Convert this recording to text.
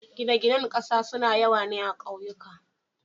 gine gine ƙasa sun yawa ne akauyuka